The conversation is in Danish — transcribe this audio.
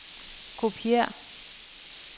kopiér